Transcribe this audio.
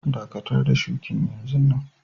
Dakatar da shukin yanzun nan!